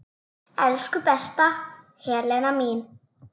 Elsku besta Helena mín.